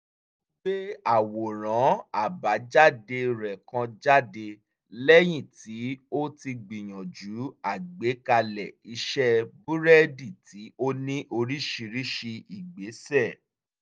ó gbé àwòrán àbájáde rẹ̀ kan jáde lẹ́yìn tí ó ti gbìyànjú àgbékalẹ̀ ìṣẹ́ búrẹ́dì tí ó ní oríṣiríṣi ìgbésẹ̀